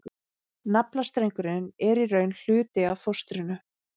Naflastrengurinn er í raun hluti af fóstrinu.